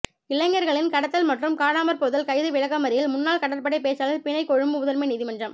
இளைஞர்களின் கடத்தல் மற்றும் காணாமற்போதல் கைது விளக்கமறியல் முன்னாள் கடற்படைப் பேச்சாளர் பிணை கொழும்பு முதன்மை நீதிமன்றம்